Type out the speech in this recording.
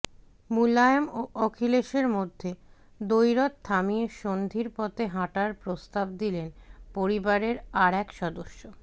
মুলায়ম ও অখিলেশের মধ্যে দ্বৈরথ থামিয়ে সন্ধির পথে হাঁটার প্রস্তাব দিলেন পরিবারের আর এক সদস্য